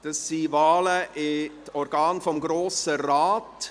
Es sind Wahlen in die Organe des Grossen Rates.